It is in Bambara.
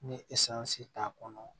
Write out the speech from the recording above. Ni t'a kɔnɔ